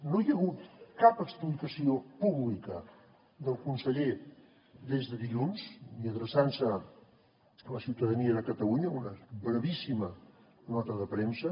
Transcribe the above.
no hi ha hagut cap explicació pública del conseller des de dilluns ni adreçant se a la ciutadania de catalunya una brevíssima nota de premsa